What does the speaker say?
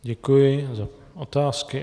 Děkuji za otázky.